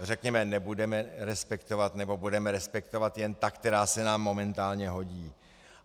řekněme, nebudeme respektovat, nebo budeme respektovat jen ta, která se nám momentálně hodí.